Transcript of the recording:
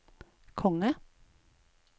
konge